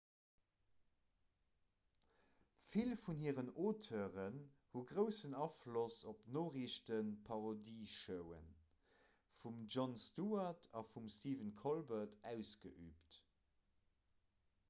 vill vun hiren auteuren hu groussen afloss op d'noriichteparodieshowe vum jon stewart a vum stephen colbert ausgeüübt